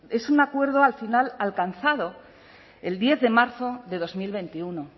es un acuerdo al final ha alcanzado el diez de marzo de dos mil veintiuno